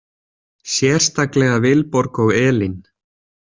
Sérstaklega Vilborg og Elín.